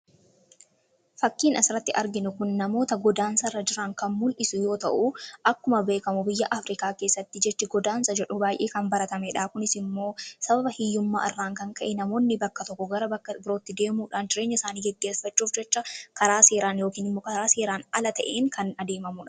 fakkiin asiratti arginu kun namoota godaansarra jiran kan mul'isu yoo ta'u, akkuma beekamu biyya Afrikaa keessatti jechi godaansa jedhu baay'ee kan baratamedha. Kunis immoo sababa hiyyummaa irraan kan ka'e namoonni bakka tokko gara bakka birootti deemuudhaan jireenya isaanii geggeffachuuf jecha karaa seeraan yookiin immoo karaa seeraan ala ta'een kan adeemamu.